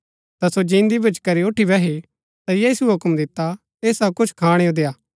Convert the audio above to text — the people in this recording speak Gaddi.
ता सो जिन्दी भूच्ची करी ऊठी बैही ता यीशुऐ हुक्म दिता ऐसाओ कुछ खाणैओ देआ